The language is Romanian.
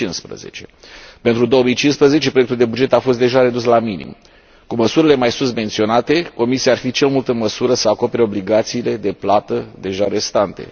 2015. Pentru 2015, proiectul de buget a fost deja redus la minim. Cu măsurile mai sus menționate, Comisia ar fi cel mult în măsură să acopere obligațiile de plată deja restante.